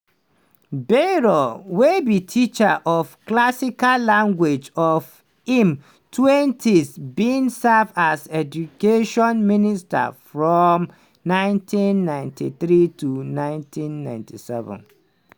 bayrou wey be teacher of classical languages for im 20s bin serve as education minister from 1993 to 1997.